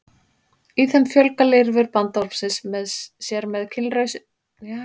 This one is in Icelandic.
í þeim fjölga lirfur bandormsins sér með kynlausri æxlun og safna vökva